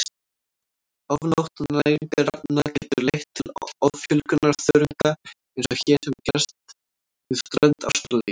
Ofgnótt næringarefna getur leitt til offjölgunar þörunga eins og hér hefur gerst við strönd Ástralíu.